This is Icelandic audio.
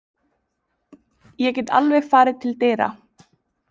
Ég get alveg farið til dyra.